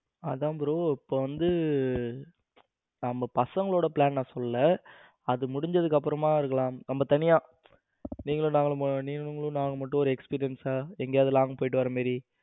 அதன் bro இப்போ வந்து நம்ம பசங்களோட plan னா சொல்லல. அது முடிஞ்சதுக்கு அப்புறமா இருக்கலாம். நம்ம தனியா நீங்களும் நானும் நீங்களும் நானும் மட்டும் ஒரு experience சா எங்கையாவது long போய்ட்டு வர மாதிரி